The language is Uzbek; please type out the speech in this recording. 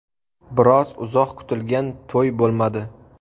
Biroq uzoq kutilgan to‘y bo‘lmadi.